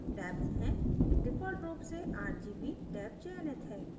default rgb से rgb rgb चयनित है